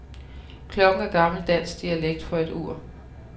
Klokken er gammel dansk dialekt for et ur.